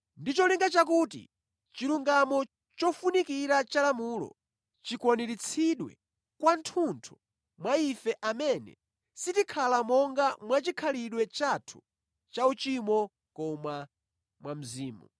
ndi cholinga chakuti chilungamo chofunikira cha lamulo chikwaniritsidwe kwathunthu mwa ife amene sitikhala monga mwachikhalidwe chathu cha uchimo koma mwa Mzimu.